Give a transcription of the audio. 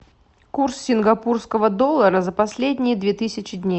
курс сингапурского доллара за последние две тысячи дней